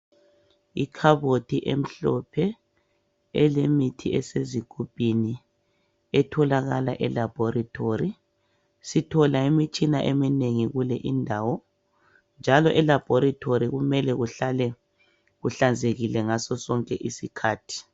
Ikhabothi emhlophe elemithi esezigumbini etholakala elabhorithori sithola imitshina eminengi kule indawo njalo elabhorithori kume kuhlale kuhlanzekile ngaso sonke isikhathi.